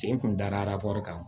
Sen kun da kan